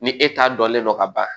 Ni e ta dɔnlen don ka ban